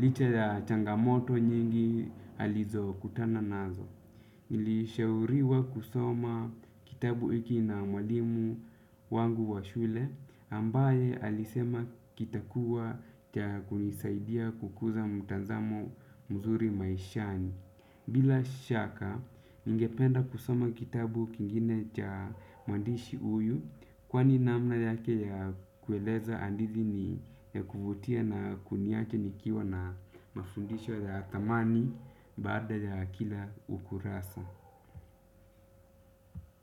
licha ya changamoto nyingi alizokutana nazo. Nilishauriwa kusoma kitabu hiki na mwalimu wangu wa shule ambaye alisema kitakuwa cha kunisaidia kukuza mtazamo mzuri maishani. Bila shaka, ningependa kusoma kitabu kingine cha mwandishi huyu kwani namna yake ya kueleza hadithi ni ya kuvutia na kuniacha nikiwa na mafundisho ya thamani baada ya kila ukurasa.